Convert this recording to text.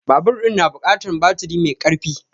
Babur ɗin na buƙatar baturi mai karfi